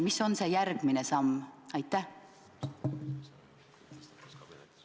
Mis on see järgmine samm?